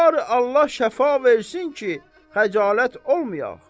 Barı Allah şəfa versin ki, xəcalət olmayax.